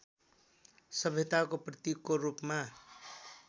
सभ्यताको प्रतीकको रूपमा